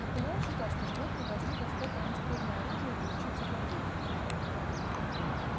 наполеон считал что животные должны достать огнестрельное оружие и учиться владеть им